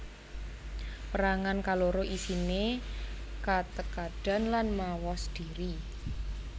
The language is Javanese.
Pérangan kaloro isiné katekadan lan mawas dhiri